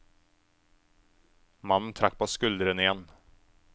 Mannen trakk på skuldrene igjen.